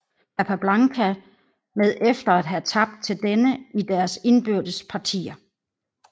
Capablanca med efter at have tabt til denne i deres indbyrdes partier